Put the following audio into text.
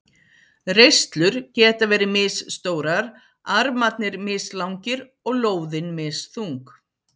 Reislur geta verið misstórar, armarnir mislangir og lóðin misþung.